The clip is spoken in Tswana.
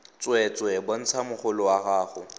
tsweetswee bontsha mogolo wa gago